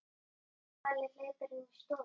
Palli hleypur inn í stofu.